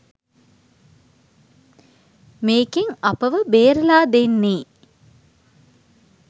මේකෙන් අපව බේරලා දෙන්නේ